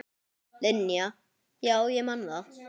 Linja, já ég man það.